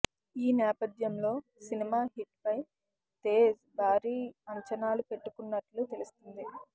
ఈ నేపధ్యంలో cinema hit పై తేజ్ భారీ అంచనాలు పెట్టుకున్నట్లు తెలుస్తుంది